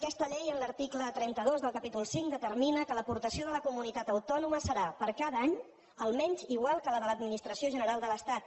aquesta llei en l’article trenta dos del capítol cinc determina que l’aportació de la comunitat autònoma serà per a cada any almenys igual que la de l’administració general de l’estat